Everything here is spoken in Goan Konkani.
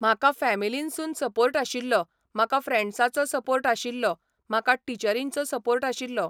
म्हाका फेमिलिनसून सपोर्ट आशिल्लो, म्हाका फ्रँडसांचो सपोर्ट आशिल्लो, म्हाका टिचरिंचो सपोर्ट आशिल्लो.